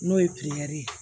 N'o ye ye